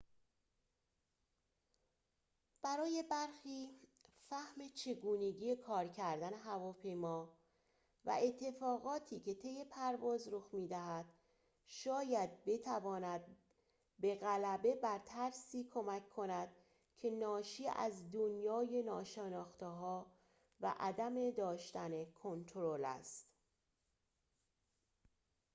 برای برخی فهم چگونگی کار کردن هواپیما و اتفاقاتی که طی پرواز رخ می‌دهد شاید بتواند به غلبه بر ترسی کمک کند که ناشی از دنیای ناشناخته‌ها و عدم داشتن کنترل است